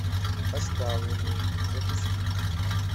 оставленные запусти